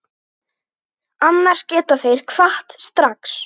Annars geta þeir kvatt strax.